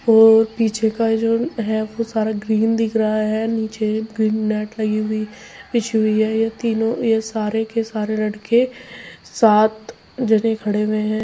ये पीछे का जो है वो सारा ग्रीन दिख रहा है। नीचे भी नेट लगी हुई बिछी हुई है। ये तीनों ये सारे के सारे लड़के साथ जने खड़े हुए हैं।